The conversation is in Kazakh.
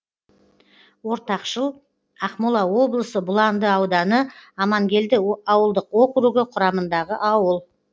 ортақшыл ақмола облысы бұланды ауданы амангелді ауылдық округі құрамындағы ауыл